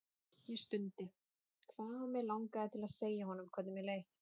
Ég stundi, hvað mig langaði til að segja honum hvernig mér leið.